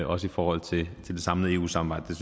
også i forhold til det samlede eu samarbejde